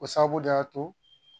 O sababu de y'a to